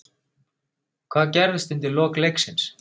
Hvað gerðist undir lok leiksins?